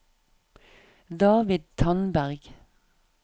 David Tandberg